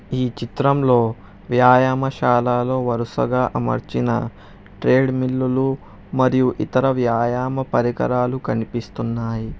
ఈ చిత్రంలో వ్యాయామశాలలో వరుసగా అమర్చిన ట్రేడ్మిల్లులు మరియు ఇతర వ్యాయామ పరికరాలు కనిపిస్తున్నాయి.